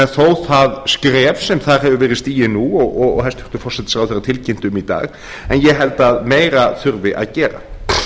þó það skref sem þar hefur gerð stigið nú og hæstvirtur forsætisráðherra tilkynnti um í dag en ég held að meira þurfi að gera